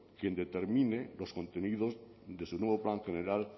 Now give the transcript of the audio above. quien determine los contenidos de su nuevo plan general